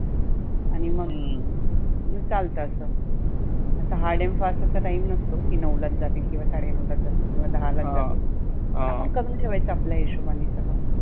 आणि मग चालतं असं. असा hard and fast time नसतो की नऊलाच जाते किंवा साडे नऊलाच जाते किंवा दहालाच जाते. आपण करुण ठेवायच आपल्या हिशोबाने सगळ.